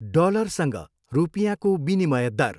डलरसँग रुपियाँको विनिमय दर।